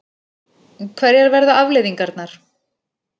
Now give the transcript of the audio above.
Hverjar verða afleiðingarnar?